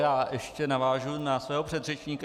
Já ještě navážu na svého předřečníka.